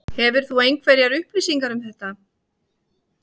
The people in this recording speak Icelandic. Hefur þú einhverjar upplýsingar um þetta?